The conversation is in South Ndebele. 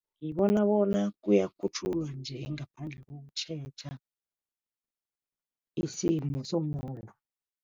Ngibona bona kuyakhutjhulwa nje ngaphandle kokutjheja isimo somuntu.